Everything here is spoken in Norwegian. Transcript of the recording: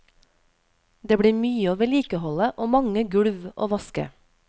Det blir mye å vedlikeholde og mange gulv å vaske.